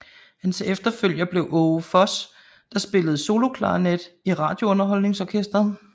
Hans efterfølger blev Aage Voss der spillede soloklarinet i Radiounderholdningsorkestret